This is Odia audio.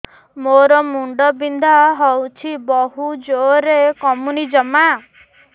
ମୋର ମୁଣ୍ଡ ବିନ୍ଧା ହଉଛି ବହୁତ ଜୋରରେ କମୁନି ଜମା